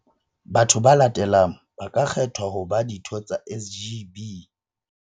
Batho ba latelang ba ka kgethwa ho ba ditho tsa SGB.